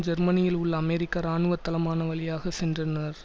ஜெர்மனியில் உள்ள அமெரிக்க இராணுவ தளமான வழியாக சென்றிருந்தனர்